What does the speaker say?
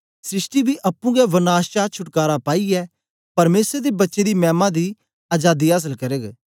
सृष्टि बी अप्पुं गै वनाश चां छुटकारा पाईयै परमेसर दे बच्चें दी मैमा दी अजादी आसल करग